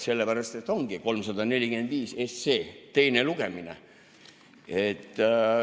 Sellepärast, et ongi 345 SE teine lugemine.